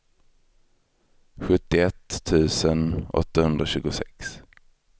sjuttioett tusen åttahundratjugosex